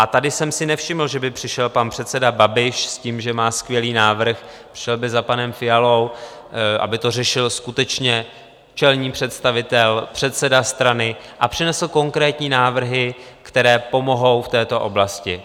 A tady jsem si nevšiml, že by přišel pan předseda Babiš s tím, že má skvělý návrh, přišel by za panem Fialou, aby to řešil skutečně čelný představitel, předseda strany, a přinesl konkrétní návrhy, které pomohou v této oblasti.